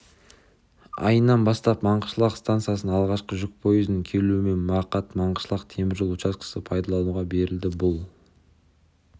айынан бастап маңғышлақ стансасына алғашқы жүк пойызының келуімен мақат-маңғышлақ темір жол учаскесі пайдалануға берілді бұл